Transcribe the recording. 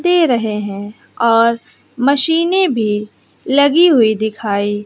दे रहे हैं और मशीने भी लगी हुई दिखाई --